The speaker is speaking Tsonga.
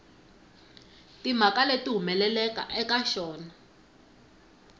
timhaka leti humelelaka eka xona